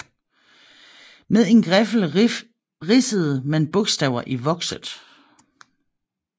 Med en griffel ridsede man bogstaver i vokset